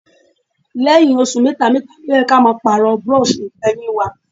Lẹ́yìn oṣù mẹ́ta mẹ́ta ni ó yẹ kí a máa Pààrọ̀ búrọ́ọ̀ṣì Ìfọ̀yín wa